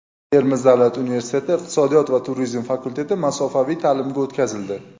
Termiz davlat universiteti iqtisodiyot va turizm fakulteti masofaviy ta’limga o‘tkazildi.